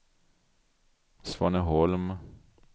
Svaneholm